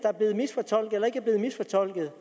efter valget